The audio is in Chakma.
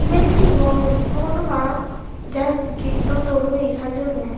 iban he ghor mui hobor nw pang just gate u dol oyi sajeyunne.